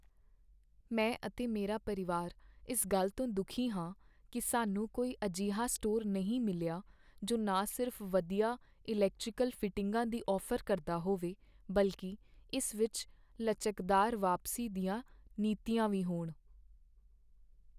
ਮੈਂ ਅਤੇ ਮੇਰਾ ਪਰਿਵਾਰ ਇਸ ਗੱਲ ਤੋਂ ਦੁੱਖੀ ਹਾਂ ਕੀ ਸਾਨੂੰ ਕੋਈ ਅਜਿਹਾ ਸਟੋਰ ਨਹੀਂ ਮਿਲਿਆ ਜੋ ਨਾ ਸਿਰਫ਼ ਵਧੀਆ ਇਲੈਕਟ੍ਰੀਕਲ ਫਿਟਿੰਗਾਂ ਦੀ ਔਫ਼ਰ ਕਰਦਾ ਹੋਵੇ ਬਲਕਿ ਇਸ ਵਿੱਚ ਲਚਕਦਾਰ ਵਾਪਸੀ ਦੀਆਂ ਨੀਤੀਆਂ ਵੀ ਹੋਣ।